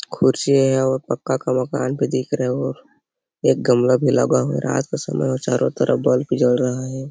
खुर्सी और पक्का का मकान तो दिख रहा है एक भी लगा हुआ है आसपास और चारों तरफ बल्ब जल रहा हैं ।